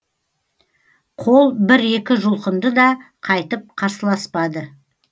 қол бір екі жұлқынды да қайтып қарсыласпады